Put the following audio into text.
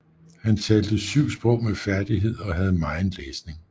Han talte 7 sprog med færdighed og havde megen læsning